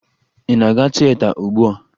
Ị na-aga tieta ugbua?